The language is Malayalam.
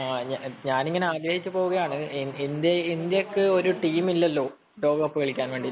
ഞാൻ ഇങ്ങനെ ആഗ്രഹിച്ചുപോവുകയാണ് ഇന്ത്യക്ക് ഒരു ടീമില്ലല്ലോ ലോകകപ്പ് കളിയ്ക്കാൻ